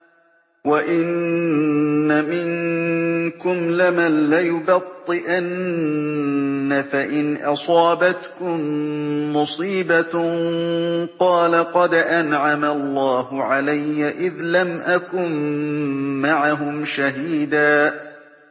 وَإِنَّ مِنكُمْ لَمَن لَّيُبَطِّئَنَّ فَإِنْ أَصَابَتْكُم مُّصِيبَةٌ قَالَ قَدْ أَنْعَمَ اللَّهُ عَلَيَّ إِذْ لَمْ أَكُن مَّعَهُمْ شَهِيدًا